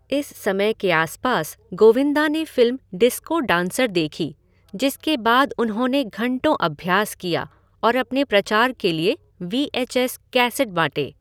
इस समय के आसपास गोविंदा ने फ़िल्म डिस्को डांसर देखी, जिसके बाद उन्होंने घंटों अभ्यास किया और अपने प्रचार के लिए वी एच एस कैसेट बाँटे।